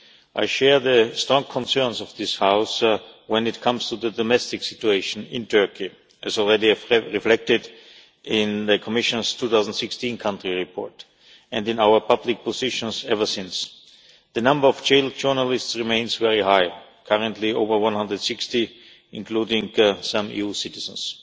I share the strong concerns of this House when it comes to the domestic situation in Turkey as already reflected in the Commission's 2016 country report and in our public positions ever since. The number of jailed journalists remains very high currently over 160, including some EU citizens.